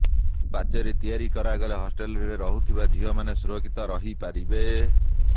ପାଚେରି ତିଆରି କରାଗଲେ ହଷ୍ଟେଲରେ ରହୁଥିବା ଝିଅମାନେ ସୁରକ୍ଷିତ ରହିପାରିବେ